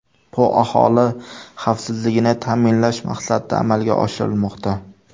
Bu aholi xavfsizligini ta’minlash maqsadida amalga oshirilmoqda.